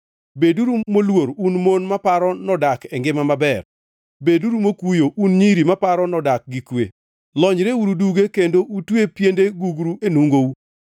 Beduru moluor un mon maparo nodak e ngima maber; beduru mokuyo, un nyiri maparo nodak gi kwe! Lonyreuru duge kendo utwe piende gugru enungou.